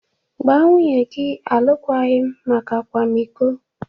Gbaa nwunye gị alụkwaghịm maka akwamiko!